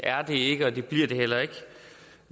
ikke og det bliver det heller ikke